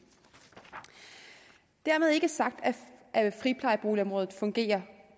dermed er ikke sagt at friplejeboligområdet fungerer